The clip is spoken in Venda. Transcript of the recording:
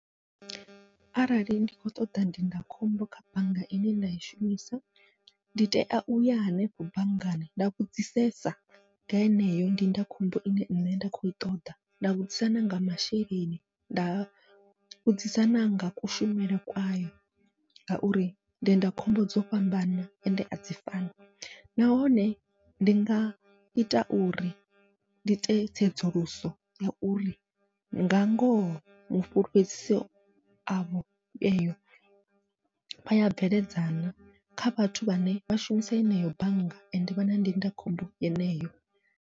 Arali ndi kho ṱoḓa ndindakhombo kha bannga ine nda i shumisa, ndi tea uya hanefho banngani nda vhudzisesa nga heneyo ndindakhombo ine nṋe nda kho i ṱoḓa, nda vhudzisa nanga masheleni nda vhudzisa nanga kushumele kwayo. Ngauri ndindakhombo dzo fhambana ende adzi fani nahone ndi nga ita uri ndi ite tsedzuluso ya uri nga ngoho mufhulufhedziso avho eyo vha ya bveledza na, kha vhathu vhane vha shumisa eneyo bannga ende vha na ndindakhombo yeneyo.